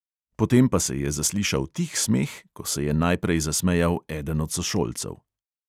Potem pa se je zaslišal tih smeh, ko se je najprej zasmejal eden od sošolcev.